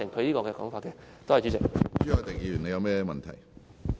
朱凱廸議員，你有甚麼問題？